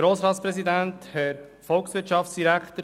Kommissionssprecher der FiKo-Mehrheit.